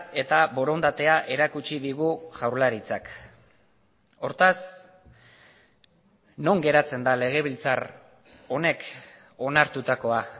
eta borondatea erakutsi digu jaurlaritzak hortaz non geratzen da legebiltzar honek onartutakoa